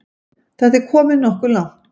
Þetta er komið nokkuð langt.